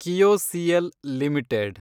KIOCL limited